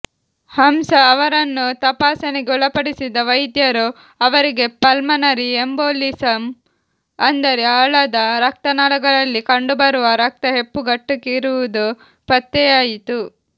ಹಂಸಾ ಅವರನ್ನು ತಪಾಸಣೆಗೆ ಒಳಪಡಿಸಿದ ವೈದ್ಯರು ಅವರಿಗೆ ಪಲ್ಮನರಿ ಎಂಬೋಲಿಸಮ್ ಅಂದರೆ ಆಳದ ರಕ್ತನಾಳಗಳಲ್ಲಿ ಕಂಡುಬರುವ ರಕ್ತ ಹೆಪ್ಪುಗಟ್ಟಿರುವುದು ಪತ್ತೆಯಾಯಿತು